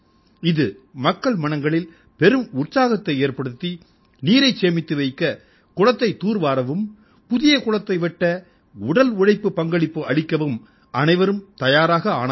இது மக்கள் மனங்களில் பெரும் உற்சாகத்தை ஏற்படுத்தி நீரைச் சேமித்து வைக்க குளத்தைத் தூர் வாரவும் புதிய குளத்தை வெட்ட உடல் உழைப்புப் பங்களிப்பு அளிக்கவும் அனைவரும் தயாராக ஆனார்கள்